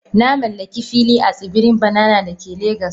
Na mallaki fili a tsibirin Banana da ke Legas.